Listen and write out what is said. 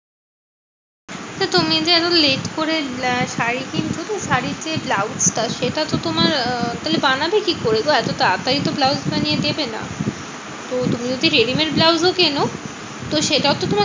তো তুমি এরম late করে শাড়ী কিনছোতো? শাড়ী তে ব্লউজ সেটা তো তোমার আহ তাহলে বানাবে কি করে গো? এত তাড়াতাড়ি তো ব্লাউজটা নিয়ে দেবে না? তো তুমি যদি ready-made ব্লাউজও কেনো? তো সেটাও তো তোমার